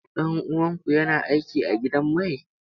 Ɗan uwanku yana aiki a gidan mai?